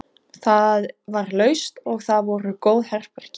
Það var laust og þar voru góð herbergi.